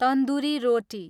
tandoori रोटी